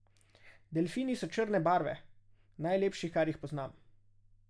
Delfini so črne barve, najlepši, kar jih poznam.